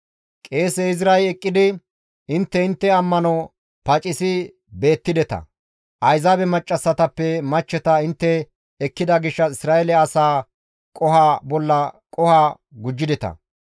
Qeese Izray eqqidi, «Intte intte ammano pacisi beettideta; Ayzaabe maccassatappe machcheta intte ekkida gishshas Isra7eele asaa qoho bolla qoho gujjideta.